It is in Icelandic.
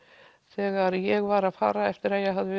þegar ég var að fara eftir að ég hafði